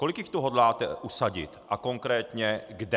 Kolik jich tu hodláte usadit a konkrétně kde?